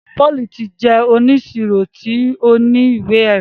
Paul tì jẹ ọníṣíró tì o ní iwé-ẹ̀rí